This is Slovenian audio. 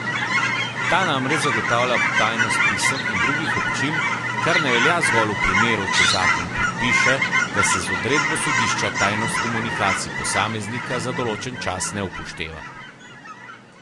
Ta namreč zagotavlja tajnost pisem in drugih občil, kar ne velja zgolj v primeru, če zakon predpiše, da se z odredbo sodišča tajnost komunikacij posameznika za določen čas ne upošteva.